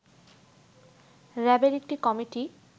র‍্যাবের একটি কমিটি